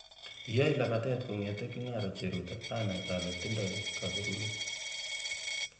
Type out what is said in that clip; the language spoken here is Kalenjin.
Kiaey lapatet kongete kingaro cheruto anay ale tindoi kaberuret